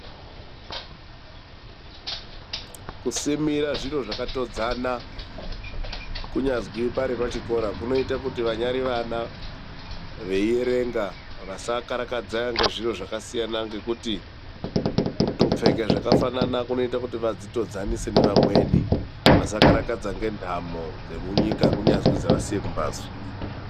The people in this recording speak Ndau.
Kusimira zviro zvakatodzana kunyazwi pari pachikora kunoita kuti vanyari vana veierenga vasakarakadza ngezviro zvakasiyana ngekuti kutopfeka zvakafanana kunoita kuti vadzitodzanise ngevamweni vasakarakadza ngentamo dzemunyika, kunyazwi zvaasiya kumbatso.